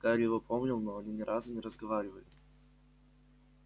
гарри его помнил но они ни разу не разговаривали